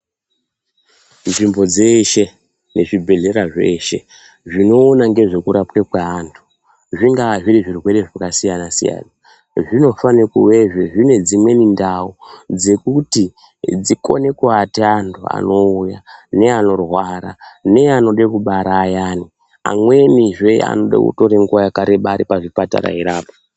Nzvimbo dzeshe, nezvibhedhlera zveshe zvinoona ngezvekurapwa kweantu zvingaazviri zvirwere zvakasiyana siyana zvinofana kuvezve zviine dzimweni ndau dzekuti dzikone kuata antu anouya neanorwara, neanode kubara ayani amweni zvee anode kutora nguwa yakareba ari pazvipatara eirapwa.